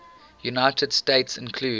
united states include